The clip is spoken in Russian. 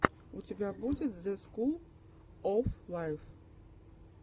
у тебя будет зе скул оф лайф